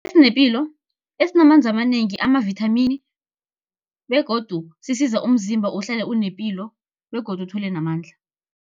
Esinepilo, esinamanzi amanengi, amavithamini, begodu sisiza umzimba uhlale unepilo begodu uthole namandla.